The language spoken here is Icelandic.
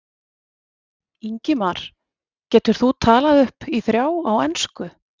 Ingimar: Getur þú talið upp í þrjá á ensku?